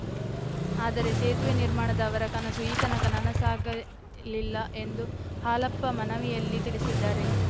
ಆದರೆ ಸೇತುವೆ ನಿರ್ಮಾಣದ ಅವರ ಕನಸು ಈತನಕ ನನಸಾಗಲಿಲ್ಲ ಎಂದು ಹಾಲಪ್ಪ ಮನವಿಯಲ್ಲಿ ತಿಳಿಸಿದ್ದಾರೆ